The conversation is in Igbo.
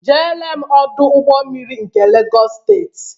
Jere m Ọdụ ụgbọ mmiri nke Legọs steeti!